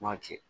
M'a ci